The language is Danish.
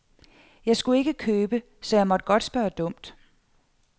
Jeg skulle ikke købe, så jeg måtte godt spørge dumt.